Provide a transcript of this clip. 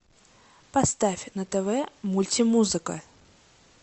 поставь на тв мультимузыка